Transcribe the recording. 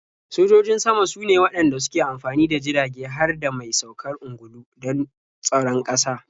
Sojojin sama sune waɗanda suke amfani da jirage har da mai saukar ungulu don tsaron ƙasa.